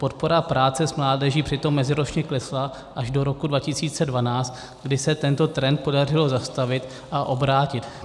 Podpora práce s mládeží přitom meziročně klesala až do roku 2012, kdy se tento trend podařilo zastavit a obrátit.